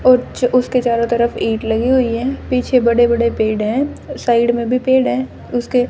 ऊच उसके चारों तरफ एक लगी हुई है। पीछे बड़े-बड़े पेड़ है। साइड में भी पेड़ है उसके--